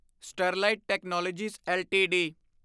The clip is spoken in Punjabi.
Sterlite technologies LTD